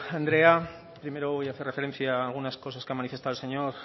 andrea primero voy a hacer referencia a algunas cosas que ha manifestado el señor